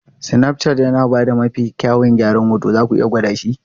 Snapchat yana ba da mafi kyawun gyaran hoto, zaku iya gwada shi.